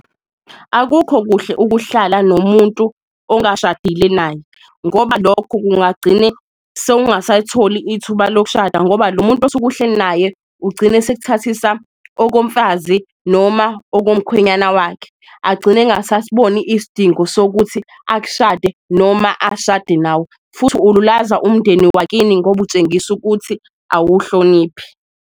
Akukho kuhle ukuhlala nomuntu ongashadile naye ngoba lokho kungagcine sewungasatholi ithuba lokushada, ngoba lo muntu osuke uhleli naye ugcine esekuthathisa okomfazi noma okomkhwenyana wakhe, agcine engasasiboni isdingo sokuthi akushade noma ashade nawe. Futhi ululaza umndeni wakini ngoba utshengisa ukuthi awuwuhloniphi.